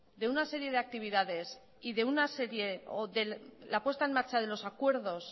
de una serie de actividades y de una serie o de la puesta en marcha de los acuerdos